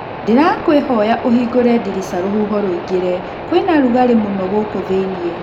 Ndĩrakũĩhoya ũhingore ndirica rũhuho rũingĩrĩ. kũĩna rugarĩ mũno gũkũ thĩinĩ.